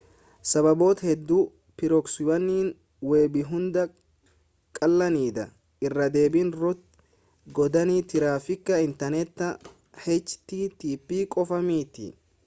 sababoota hedduu pirooksiiwwan weebiihunda caalanidha irraa deebiin root godhanii tiraafiika inteerneta http qofa miti